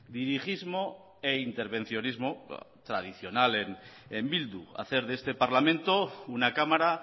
dirigismo e intervencionismo tradicional en bildu hacer de este parlamento una cámara